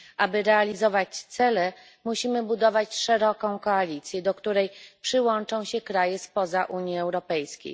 Aby realizować cele, musimy budować szeroką koalicję, do której przyłączą się kraje spoza Unii Europejskiej.